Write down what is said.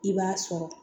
I b'a sɔrɔ